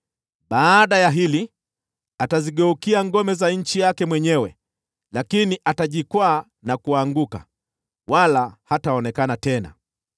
Baada ya hili atazigeukia ngome za nchi yake mwenyewe, lakini atajikwaa na kuanguka, wala hataonekana tena.